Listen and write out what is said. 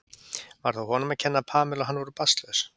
Var það honum að kenna að Pamela og hann voru barnlaus?